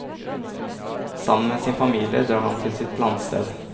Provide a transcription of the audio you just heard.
Sammen med sin familie drar han til sitt landsted.